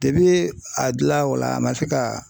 a dila o la a ma se ka